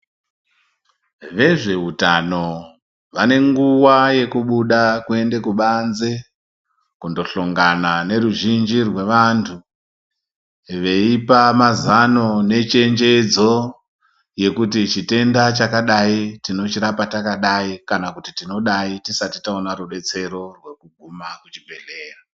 Vezveutano vane nguwa yekubuda kuende kubanzi kundohlongana neruzhinji rwevantu veipa mazano nechenjedzo yekuti chitenda chakadai tinochirapa takadai kana kuti tinodai tisati taona rudetsero rwekuguma kuchibhehlera.